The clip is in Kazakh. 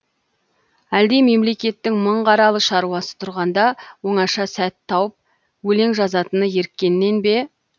әлде мемлекеттің мың қаралы шаруасы тұрғанда оңаша сәт тауып өлең жазатыны еріккеннен бе